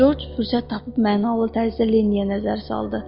Corc fürsət tapıb mənalı tərzdə Linniyə nəzər saldı.